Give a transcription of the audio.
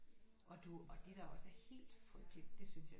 Og du og det der også er helt frygteligt det synes jeg